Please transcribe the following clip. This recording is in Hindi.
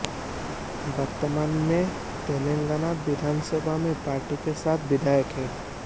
वर्तमान में तेलंगाना विधानसभा में पार्टी के सात विधायक हैं